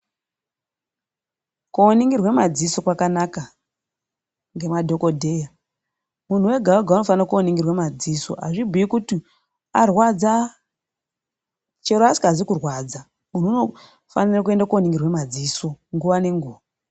Koningirwe madziso kwakanaka ngemadhokodheya. Muntu wega wega unofanoningirwe madziso. Hazvibhuyi kuti arwadza. Chero asingazwi kurwadza, muntu unofanirwa kuende koningirwa madziso nguva nenguva.